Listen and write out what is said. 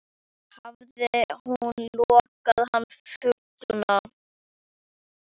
Hafði hún logið hann fullan?